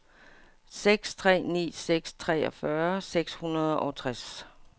seks tre ni seks treogfyrre seks hundrede og tres